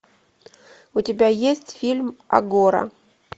у тебя есть фильм агора